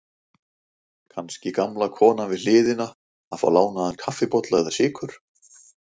Kannski gamla konan við hliðina að fá lánaðan kaffibolla eða sykur.